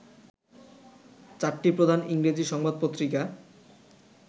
চারটি প্রধান ইংরেজি সংবাদপত্রিকা